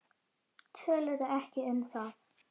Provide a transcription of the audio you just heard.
Töluðu ekki um það.